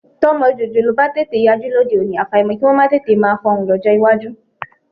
Tọ́mọ jòjòló bá tètè yajú lóde òní, àfàìmọ̀ kí wọn máa tètè máa fọhùn lọ́jọ́ iwájú.